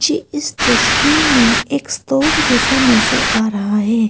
मुझे इस तस्वीर में एक स्टोर जैसा नजर आ रहा है।